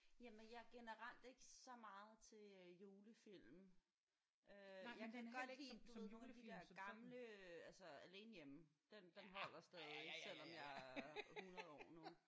Jamen jeg er generelt ikke så meget til øh julefilm øh jeg kan godt lide du ved nogle af de der gamle altså Alene Hjemme den den holder stadig selvom jeg er 100 år nu